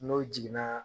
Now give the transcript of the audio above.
N'o jiginna